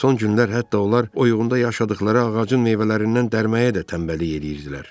Son günlər hətta onlar oyuğunda yaşadıqları ağacın meyvələrindən dərməyə də tənbəllik eləyirdilər.